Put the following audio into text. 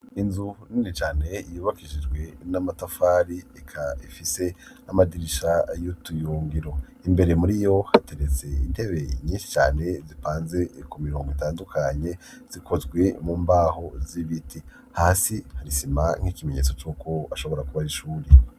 inzu nini cane yubakishijwe n'amatafari, ikaba ifise n'amadirisha y'utuyungiro. imbere muri yo hateretse intebe nyinshi cane, zipanze ku mirongo itandukanye, zikozwe mu mbaho z'ibiti. hasi hari isima nk'ikimenyetso c'uko ashobora kuba ari ishuri.